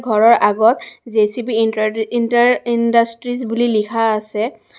ঘৰৰ আগত জে_চি_বি ইন্ত্ৰাৰ ইণ্টাৰ ইণ্ডডাছট্ৰিছ বুলি লিখা আছে।